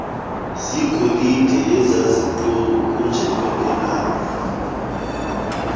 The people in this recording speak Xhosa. zegolide ezaziqukunjelwe ngelaphu